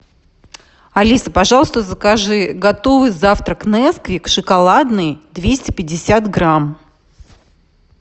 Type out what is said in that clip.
алиса пожалуйста закажи готовый завтрак несквик шоколадный двести пятьдесят грамм